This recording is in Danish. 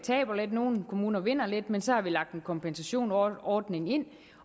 nogle kommuner vinder lidt men så har vi lagt en kompensationsordning ind